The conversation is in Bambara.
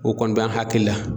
O kɔni bɛ an hakiil la.